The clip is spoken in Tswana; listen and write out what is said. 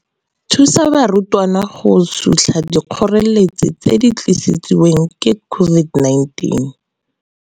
Thusa barutwana go sutlha dikgoreletsi tse di tlisiwang ke COVID-19.